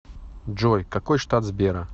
джой какой штат сбера